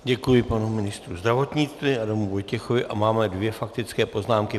Děkuji panu ministrovi zdravotnictví Adamu Vojtěchovi a máme dvě faktické poznámky.